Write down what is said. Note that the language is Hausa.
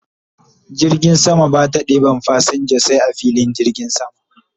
Jirgin sama Bata ɗeban fasinja sai a filin jirgin sama